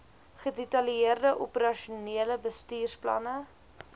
gedetaileerde operasionele bestuursplanne